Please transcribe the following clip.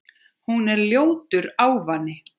Hún er ljótur ávani.